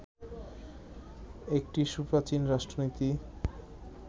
একটি সুপ্রাচীন রাষ্ট্রনীতি